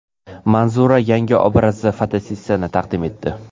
Manzura yangi obrazdagi fotosessiyasini taqdim etdi.